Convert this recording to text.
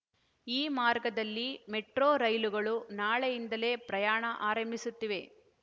ಈ ಮಾರ್ಗದಲ್ಲಿ ಮೆಟ್ರೋ ರೈಲುಗಳು ನಾಳೆಯಿಂದಲೇ ಪ್ರಯಾಣ ಆರಂಭಿಸುತ್ತಿವೆ